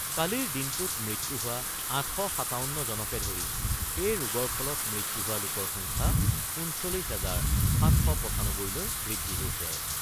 কালিৰ দিনটোত মৃত্যু হোৱা ৮৫৭ জনকে ধৰি এই ৰোগৰ ফলত মৃত্যু হোৱা লোকৰ সংখ্যা ৩৯ হাজাৰ ৭৯৫ লৈ বৃদ্ধি হৈছে।